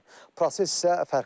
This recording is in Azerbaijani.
Proses isə fərqlidir.